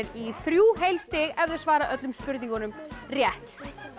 í þrjú heil stig ef þau svara öllum spurningunum rétt